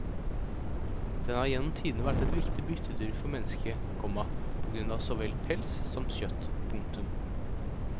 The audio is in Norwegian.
Den har gjennom tidene vært et viktig byttedyr for mennesket, komma på grunn av så vel pels som kjøtt. punktum